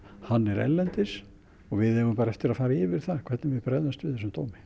hann er erlendis og við eigum bara eftir að fara yfir það hvernig við bregðumst við þessum dómi